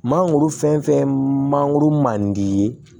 Mangoro fɛn fɛn ye mangoro man di i ye